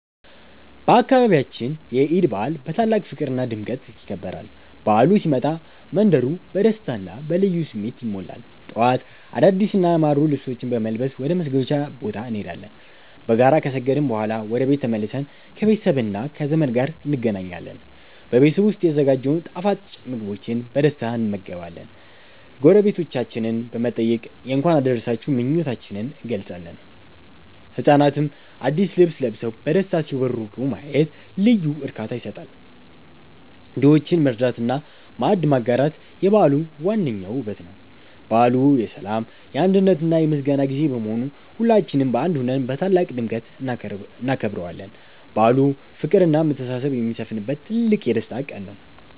በአካባቢያችን የዒድ በዓል በታላቅ ፍቅርና ድምቀት ይከበራል። በዓሉ ሲመጣ መንደሩ በደስታና በልዩ ስሜት ይሞላል። ጠዋት አዳዲስና ያማሩ ልብሶችን በመልበስ ወደ መስገጃ ቦታ እንሄዳለን። በጋራ ከሰገድን በኋላ ወደ ቤት ተመልሰን ከቤተሰብና ከዘመድ ጋር እንገናኛለን። በቤት ዉስጥ የተዘጋጀውን ጣፋጭ ምግቦችን በደስታ እንመገባለን። ጎረቤቶቻችንን በመጠየቅ የእንኳን አደረሳችሁ ምኞታችንን እንገልጻለን። ህጻናትም አዲስ ልብስ ለብሰው በደስታ ሲቦርቁ ማየት ልዩ እርካታ ይሰጣል። ድሆችን መርዳትና ማዕድ ማጋራት የበዓሉ ዋነኛው ውበት ነው። በዓሉ የሰላም፣ የአንድነትና የምስጋና ጊዜ በመሆኑ ሁላችንም በአንድ ሆነን በታላቅ ድምቀት እናከብረዋለን። በዓሉ ፍቅርና መተሳሰብ የሚሰፍንበት ትልቅ የደስታ ቀን ነው።